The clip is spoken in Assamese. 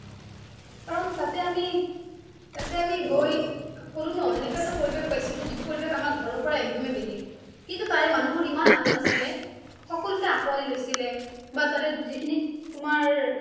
কাৰণ তাতে আমি, তাতে আমি গৈ কোলো ন অনেকুৱা এটা পৰিৱেশ পাইছিলো যিটো পৰিৱেশ আমাৰ ঘৰৰ পৰাই একদমেই বেলেগ কিন্তু তাৰে মানুহ বিলাক একদম এ আপোন সকলোকে আঁকোৱালি লৈছিলে বা তাৰে যিখিনি তোমাৰ